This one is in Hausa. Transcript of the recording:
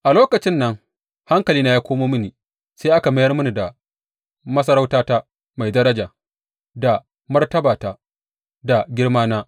A lokacin nan hankalina ya komo mini, sai aka mayar mini da masarautata mai daraja, da martabata, da girmana.